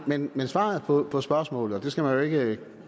men svaret på på spørgsmålet og det skal man jo ikke